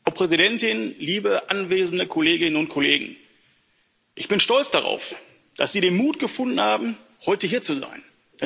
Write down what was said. Frau Präsidentin! Liebe anwesende Kolleginnen und Kollegen, ich bin stolz darauf, dass Sie den Mut gefunden haben, heute hier zu sein.